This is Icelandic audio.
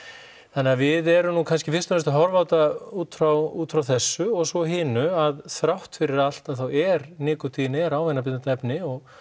þannig að við erum nú kannski fyrst og fremst að horfa á þetta út frá út frá þessu og svo hinu að þrátt fyrir allt þá er nikótínið er ávanabindandi efni og